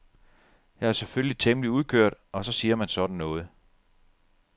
Jeg er selvfølgelig temmelig udkørt og så siger man sådan noget.